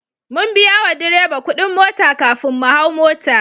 Mun biya wa direba kudin mota kafin mu hau mota.